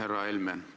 Härra Helme!